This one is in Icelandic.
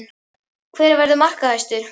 Hver verður markahæstur?